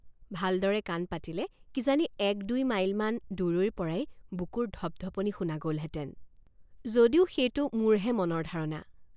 ভালদৰে কাণ পাতিলে কিজানি এক দুই মাইলমান দূৰৈৰপৰাই বুকুৰ ধপ্ ধপনি শুনা গ'লহেঁতেন যদিও সেইটো মোৰহে মনৰ ধাৰণা।